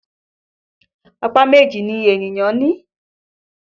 Apá méjì ni ènìyàn ní